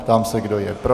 Ptám se, kdo je pro.